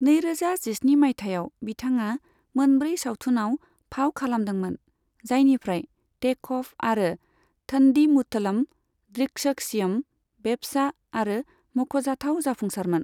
नैरोजा जिस्नि मायथाइयाव, बिथाङा मोनब्रै सावथुनआव फाव खालामदोंमोन, जायनिफ्राय टेक अफ आरो थ'न्डीमुथलम ड्रिक्सक्षियम बेब्सा आरो मख'जाथाव जाफुंसारमोन।